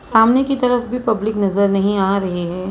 सामने की तरफ भी पब्लिक नजर नहीं आ रही है।